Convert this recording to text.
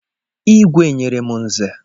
Igwe nyere m Nze.